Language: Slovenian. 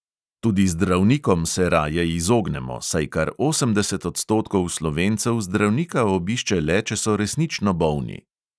Tudi zdravnikom se raje izognemo, saj kar osemdeset odstotkov slovencev zdravnika obišče le, če so resnično bolni.